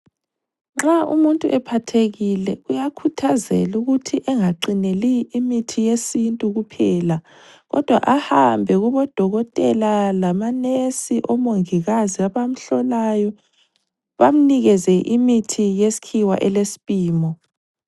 Nxa umuntu ephathekile uyakhuthazelwa ukuthi angaqineli imithi yesintu kuphela. kodwa ahambe kubo dokotela lama nesi omongikazi abamhlolayo bamnikeze imithi yeskhiwa ele spimo.